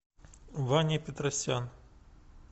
ваня петросян